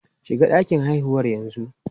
Shiga ɗakin haihuwar yanzu!